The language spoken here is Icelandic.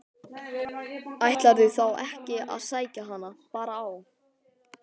Ætlarðu þá ekki að sækja hana bara á